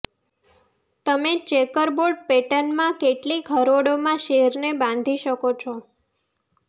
તમે ચેકરબોર્ડ પેટર્નમાં કેટલીક હરોળોમાં સેરને બાંધી શકો છો